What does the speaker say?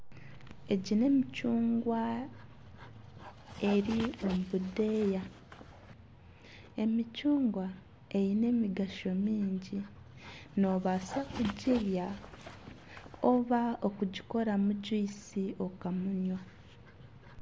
Egi ni emicungwa eri omu budeeya, emicungwa eine emigasho mingi noobaasa kugirya oba okugikoramu juyisi okaginywa.